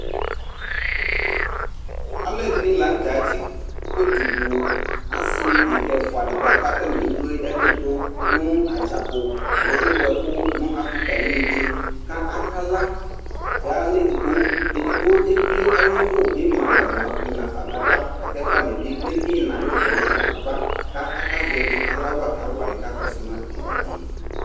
alʋɛɖini ɖʋɖƶali ataniabu kpe kpee kpee asiɖini ƶati nʋtikpa ɛɖini keyi bisi ɛɖinɛ keyi anɛ kʋsini manatamiɛtʋ NA bima nataniɛtʋ alʋɛɖini amaeviɖƶe nidʋ itsiɖini bima nɛƒɛ itsʋɖini bima nɛƒɛ kʋsiɖini ma nɛƒɛ